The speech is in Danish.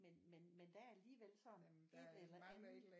Men men men der er alligevel sådan et eller andet